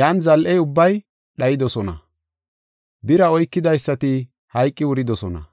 Yan zal7iya ubbay dhayidosona; bira oykidaysati hayqi wuridosona.